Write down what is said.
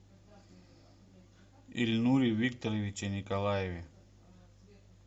ильнуре викторовиче николаеве